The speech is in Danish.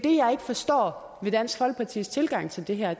jeg ikke forstår ved dansk folkepartis tilgang til det her